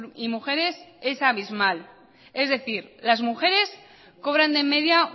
y mujeres es abismal es decir las mujeres cobran de media